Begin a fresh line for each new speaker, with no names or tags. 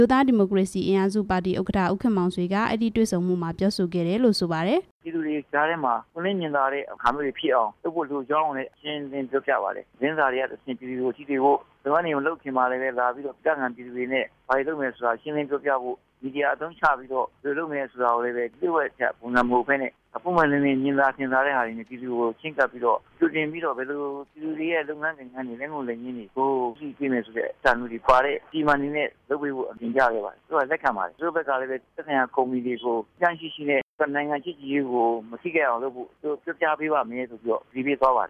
ိုးသားဒီမိုကရေစီအင်အားစုပါတီ ဥက္ကဌ ဦးခင်မောင်ဆွေက ခရီးစဉ်အတွင်း ဆွေးနွေးခဲ့တာတွေကို RFA ကို အခုလို ပြောပါတယ်။
"ပြည်သူတွေကြားထဲမှာ ပွင့်လင်းမြင်သာတဲ့အခါမျိုးတွေဖြစ်အောင် လုပ်ဖို့လိုကြောင်းကိုလည်း ရှင်းရှင်းလင်းလင်းပြောပြပါတယ်၊ လုပ်ငန်းတွေမလုပ်ခင်မှာပဲလာပြီးတော့ ဒေသခံပြည်သူတွေနဲ့ ဘာတွေလုပ်မယ်ဆိုတာ ရှင်းရှင်းလင်းလင်းပြောပြဖို့၊ နောက် ဘယ်လိုလုပ်မယ်ဆိုတာကိုလည်း လျှိ့ဝှက်တဲ့ပုံစံမဟုတ်ပဲနဲ့ ပွင့်ပွင့်လင်းလင်း မြင်သာထင်သာစွာနဲ့ ပြည်သူကိုချဉ်းကပ်ပြီးတော့ ကြိုတင်ပြီးတော့ ပြည်သူတွေရဲ့ လုပ်ငန်းကိုင်ငန်း လက်ငုပ်လက်ရင်းတွေကို ဘယ်လိုကြည့်ပေးမယ်ဆိုတဲ့ အစီအမံတွေပါပါဖို့ တင်ပြခဲ့ပါတယ်၊ သူတို့ကလည်း လက်ခံပါတယ်၊ သူတို့ဘက်ကလည်း သက်ဆိုင်ရာကုမ္ပဏီတွေကို စည်းကမ်းရှိရှိနဲ့ နှစ်နိုင်ငံချစ်ကြည်ရေးကို မထိခိုက်အောင်လုပ်ဖို့ ပြောပြပေးပါမယ်လို့ ကတိပေးသွားပါတ